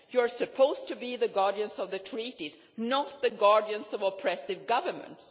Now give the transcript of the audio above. You are supposed to be the guardians of the treaties, not the guardians of oppressive governments.